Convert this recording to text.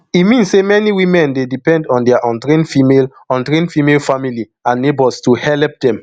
e mean say many women dey depend on dia untrained female untrained female family and neighbours to helep dem